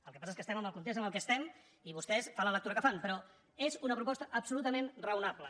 el que passa és que estem en el context en què estem i vostès fan la lectura que fan però és una proposta absolutament raonable